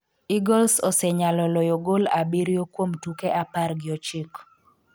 Eagles osenyalo loyo gol abiriyo kuom tuke apar gi ochiko